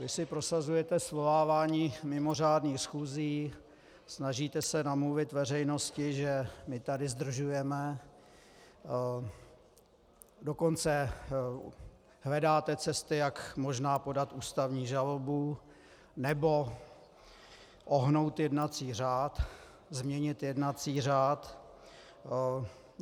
Vy si prosazujete svolávání mimořádných schůzí, snažíte se namluvit veřejnosti, že my tady zdržujeme, dokonce hledáte cesty, jak možná podat ústavní žalobu nebo ohnout jednací řád, změnit jednací řád.